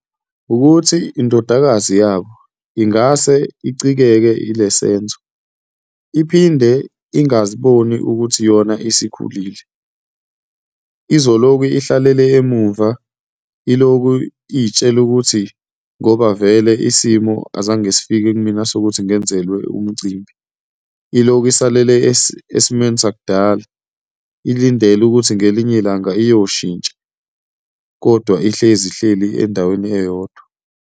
Wukuthi indodakazi yabo ingase icikeke yile senzo, iphinde ingaziboni ukuthi yona isikhulile, izoloku ihlalele emumva ilokhu iy'tshela ukuthi ngoba vele isimo azange sifike kumina sokuthi ngenzelwa umcimbi, ilokhu isalele esimeni sakudala ilindele ukuthi ngelinye ilanga iyoshintsha, kodwa ihlezi ihleli endaweni eyodwa.